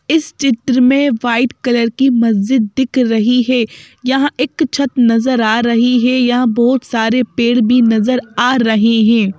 इस चित्र में व्हाईट कलर की मस्जिद दिख रही है यहां एक छत नजर आ रही है यहां बहुत सारे पेड़ भी नजर आ रहे हैं।